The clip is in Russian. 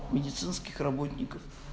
медицинских работников